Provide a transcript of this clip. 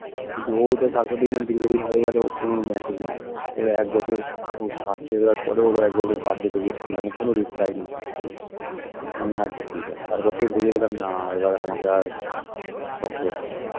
কিন্তু ও যে তারপর দেখলাম দীর্ঘদিন হয়ে গেল ওর কোন message নেই ওর এক বছর ওর কাজ শেষ যাওয়ার পরে ওরও একবার ওর birthday তে wish করলাম ওর কোন reply নেই কিচ্ছু নেই আমি আচ্ছা ঠিক আছে তারপর থেকে বুঝে গেলাম না এবার আমাকে আর শক্ত হতে হবে